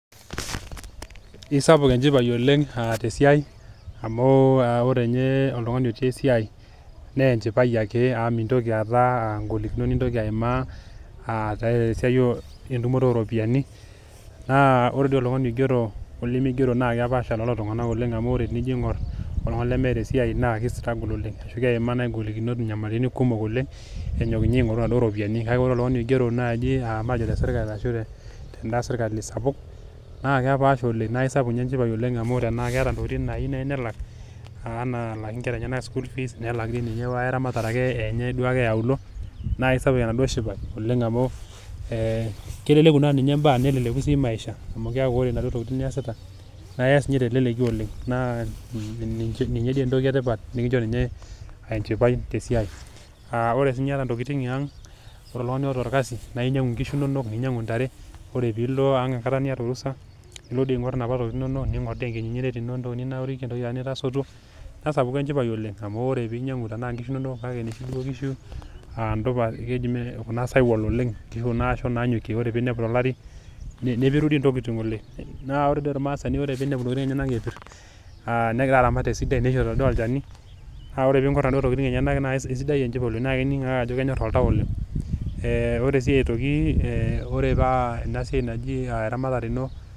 Isapuk echipai ooleng aah tesiai amu oo ore ninye oltungani, otii esiai naa enchipai ake, amu mitoki aata golikinot nitoki aimaa aah tesiai etumoto oropiyiani. Naa ore doi oltungani oigero olimigero naa kepaasha doi lelo tunganak ooleng amu, enijo aingor oltungani lemeeta esiai na ki struggle ooleng ashu keima naaji golikinot, nyamalitin kumok oooleng, enyok ninye aingoru naduo ropiyiani. Kake ore oltungani oigero naaji aah matejo naaji tesirkali oo teda sirkali sapuk, naa kepaasha ooleng naa isapuk doi ninye enchipai sapuk ooleng amu, ore naaji ena keeta tokitin naayieu nelak nelak alaaki nkera enyena, school fees nelaaki ninye wekae ramatare enye ake ee auluo naa isapuk enaduo shipai, amu ee keleku ninye baa neleleku si maisha, keaku ore naduo tokitin niasita naa yas niye teleleki oooleng. Naa ninye doi etoki etipat nikicho ninye enchipai te siai. Aa ore yata si ninche tokitin ya ang, ore oltungani oata orkasi naa nyangu nkishu inono ninyangu ntare, ore pee ilo ang ekata nita orusa ilo doi aingor napa tokitin inono ningor etoki ninaurikia etoki nitasotuo, nesapuku echipai ooleng amu ore pee nyangu nkishu inono kake noshi duo kishu aah dupas aa keji kuna sahiwal ooleng ashu kuna asho naanyokie ore pee inepu tolari nepiru doi tokitin oooleng. Naa ore doi ormaasani pee inepu tokitin enyena epir aa negira aramat esidai neishori doi ninye olchani naa ore pee iko naduoo tokitin enyena naa isidai echipai ooleng naa ining ake ajo kenyor oltau ooleng. Eeh ore si aitoki erh ore paa ena siai naji eramatare ino.